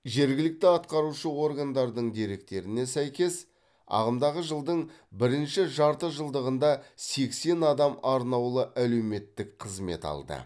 жергілікті атқарушы органдардың деректеріне сәйкес ағымдағы жылдың бірінші жарты жылдығында сексен адам арнаулы әлеуметтік қызмет алды